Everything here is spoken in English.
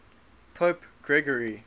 pope gregory